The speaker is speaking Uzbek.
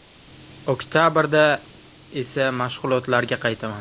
Oktabrda esa mashg‘ulotlarga qaytaman.